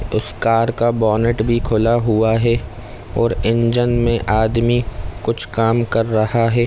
उस कार का बोनट भी खुला हुआ है और इंजन में आदमी कुछ काम कर रहा है।